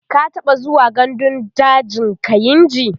ka taɓa zuwa gandun dajin kainji?